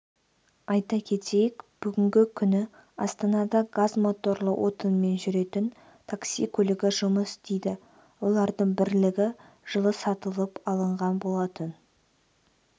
айта кетейік бүгінгі күні астанада газ моторлы отынмен жүретін такси көлігі жұмыс істейді олардың бірлігі жылы сатылып алынған болатын